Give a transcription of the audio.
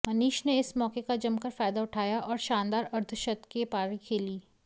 मनीष ने इस मौके का जमकर फायदा उठाया और शानदार अर्धशतकीय पारी खेली